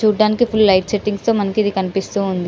చూడటానికి full light setting తో ఇది మనకు కనిపిస్తుంది --